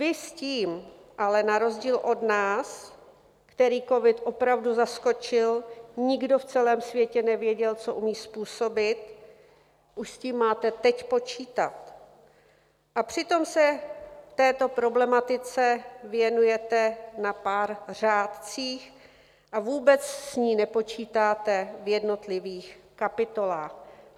Vy s tím ale na rozdíl od nás, které covid opravdu zaskočil, nikdo v celém světě nevěděl, co umí způsobit, už s tím máte teď počítat, a přitom se této problematice věnujete na pár řádcích a vůbec s ní nepočítáte v jednotlivých kapitolách.